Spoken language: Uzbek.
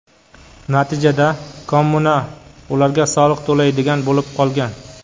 Natijada kommuna ularga soliq to‘laydigan bo‘lib qolgan.